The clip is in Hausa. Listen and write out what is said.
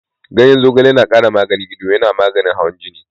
Zogale yana ƙara lafiyar ido, yana maganin hawan jini.